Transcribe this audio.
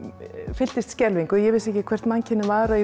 fylltist skelfingu ég vissi ekki hvert mannkynið var að